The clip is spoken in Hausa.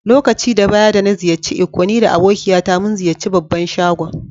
Lokaci da baya da na ziyace Ikko ni da abokiya ta mun ziyace babban shagon.